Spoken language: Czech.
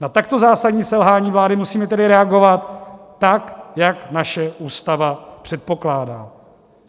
Na takto zásadní selhání vlády musíme tedy reagovat tak, jak naše Ústava předpokládá.